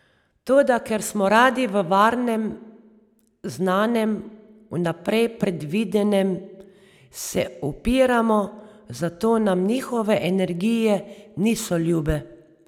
Toda ker smo radi v varnem, znanem, vnaprej predvidenem, se upiramo, zato nam njihove energije niso ljube.